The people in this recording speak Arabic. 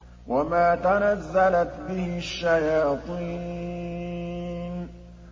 وَمَا تَنَزَّلَتْ بِهِ الشَّيَاطِينُ